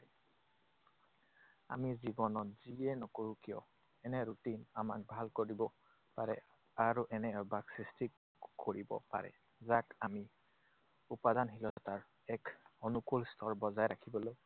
আমি জীৱনত যিয়ে নকৰো কিয়, এনে routine আমাক ভাল কৰিব পাৰে আৰু এনে অভ্যাস সৃষ্টি কৰিব পাৰে, যাক আমি উপাদানশীলতাৰ এক অনুকূল স্তৰ বজাই ৰাখিবলৈ